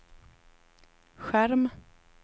skärm